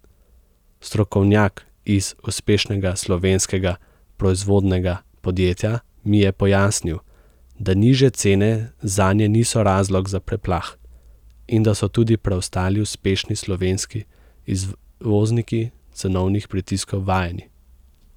Strokovnjak iz uspešnega slovenskega proizvodnega podjetja mi je pojasnil, da nižje cene zanje niso razlog za preplah in da so tudi preostali uspešni slovenski izvozniki cenovnih pritiskov vajeni.